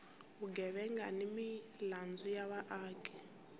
vugevenga ni milandzu ya vaaki